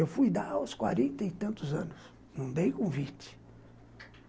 Eu fui dar aos quarenta e tantos anos, não dei convite.